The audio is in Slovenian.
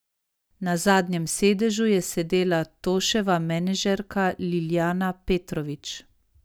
Na zadnjem sedežu je sedela Toševa menedžerka Ljiljana Petrović.